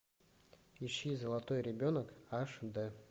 ищи золотой ребенок аш дэ